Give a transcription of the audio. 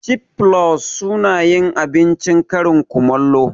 Cif flus sunayin abincin karin kumallo